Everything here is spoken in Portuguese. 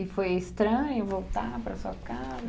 E foi estranho voltar para sua casa?